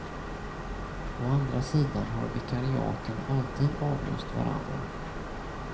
Å andra sidan har vikariaten alltid avlöst varandra.